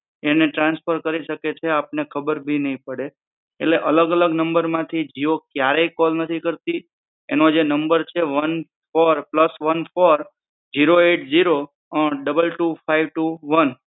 એને ટ્રાન્સફર શકે છે આપને ખબર ભી નઈ પડે એટલે અલગ અલગ નંબર માંથી જીઓ ક્યારે કોલ નથી કરતી એનો જે નંબર છે one four plus one four zero eight zero um double two five two one